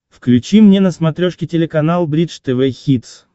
включи мне на смотрешке телеканал бридж тв хитс